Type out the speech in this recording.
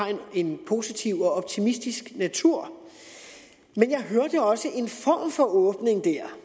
en positiv og optimistisk natur men jeg hørte også en form for åbning dér